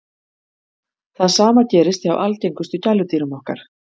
það sama gerist hjá algengustu gæludýrum okkar